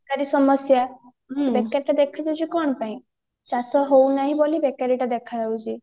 ବେକାରୀ ସମସ୍ୟା ବେକାରୀ ଟା ଦେଖା ଯାଉଛି କଣ ପାଇଁ ଚାଷ ହାଉ ନାହି ବୋଲି ବେକରୀଟା ଦେଖା ଯାଉଛି